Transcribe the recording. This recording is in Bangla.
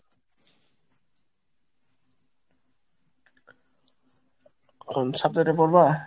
এখন সাবজেক্টে পরবা?